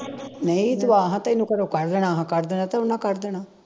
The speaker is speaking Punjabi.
ਨਹੀਂ ਤੂੰ ਆ ਹਾ ਤੈਨੂੰ ਘਰੋਂ ਕੱਢ ਦੇਣਾ ਹਾ ਕੱਢ ਦੇਣਾ ਤਾਂ ਉਨ੍ਹਾਂ ਕੱਢ ਦੇਣਾ